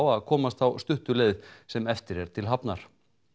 að komast þá stuttu leið sem eftir er til hafnar